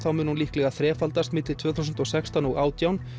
mun hún líklega þrefaldast milli tvö þúsund og sextán til átján